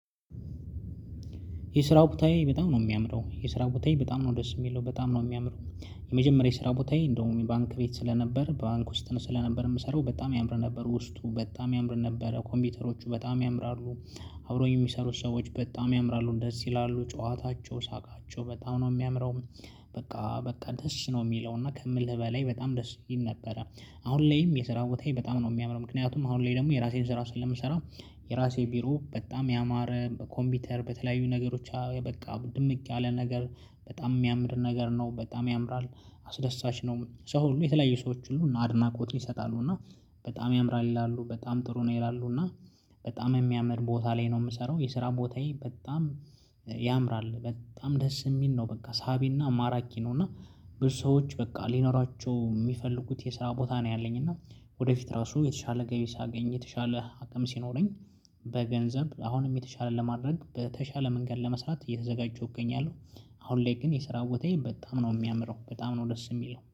የስራው ቦታዬ በጣም ነው የሚያምረው የስራው ቦታዬ በጣም ነው ደስ የሚለው በጣም ነው የሚያምረው። የመጀመሪያ ስራ ቦታዬ እንደውም ባንክ ቤት ስለነበር ባንክ ውስጥ ነው ስለነበር የምሰራው በጣም ያምር ነበር ውስጡ በጣም ያምር ነበረ ኮምፒውተሮቹ በጣም ያምራሉ። አብሮኝ የሚሰሩት ሰዎች በጣም ያምራሉ ደስ ይላሉ ጨዋታቸው ሳቃቸው በጣም ነው ሚያምረው። በቃ በቃ ደስ ነው ሚለው እና ከምልህ በላይ በጣም ደስ ይል ነበረ። አሁን ላይም የስራ ቦታዬን በጣም ነው ሚያምረው ምክንያቱም አሁን ላይ ደግሞ የራሴን ስራ ስለምሰራ። የራሴ ቢሮ በጣም ያማረ ኮምፒውተር በተለያዩ ነገሮች በቃ ድምቅ ያለ ነገር በጣም የሚያምር ነገር ነው በጣም ያምራል። አስደሳች ነው ሰው ሁሉ የተለያየ ሰዎች ሁሉ አድናቆትን ይሰጣሉ እና። በጣም ያምራል ይላሉ በጣም ጥሩ ነው ይላሉ እና። በጣም የሚያምር ቦታ ላይ ነው ምሰራው የስራ ቦታዬ በጣም ያምራል። በጣም ደስ እሚል ነው በቃ ሳቢና ማራኪ ነው እና። ብዙ ሰዎች በቃ ሊኖራቸው ሚፈልጉት የስራ ቦታ ነው ያለኝ እና። ወደፊት ራሱ የተሻለ ገቢ ሳገኝ የተሻለ አቅም ሲኖረኝ። በገንዘብ አሁንም የተሻለ ለማድረግ በተሻለ መንገድ ለመስራት እየተዘጋጀሁ እገኛለሁ። አሁን ላይ ግን የሰራው ቦታዬ በጣም ነው የሚያምረው በጣም ነው ደስ የሚለው